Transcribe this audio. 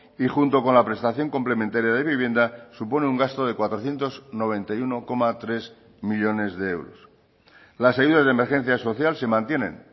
y junto con la prestación complementaria de vivienda supone un gasto de cuatrocientos noventa y uno coma tres millónes de euros las ayudas de emergencia social se mantienen